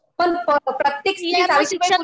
पण प्रत्येक स्त्री सावित्रीबाई फुले